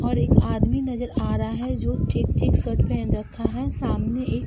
और एक आदमी नजर आ रहा है जो चेक चेक शर्ट पहन रखा है। सामने एक --